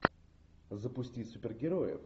запусти супергероев